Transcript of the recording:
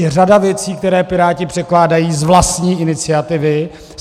Je řada věcí, které Piráti předkládají z vlastní iniciativy.